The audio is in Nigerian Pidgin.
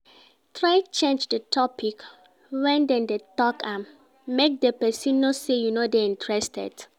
Try change di topic when dem de talk am make di persin know say you no de interested